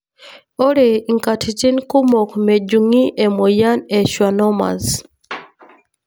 Ore nkatitin kumok mejungi emoyian e schwannomas.